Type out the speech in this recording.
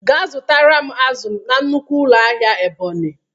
Ga zụtara m azụ na nnukwu ụlọ ahịa Ebonyi!